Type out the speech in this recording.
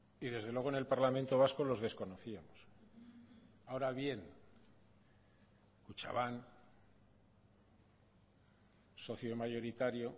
y desde luego en el parlamento vasco los desconocíamos ahora bien kutxabank socio mayoritario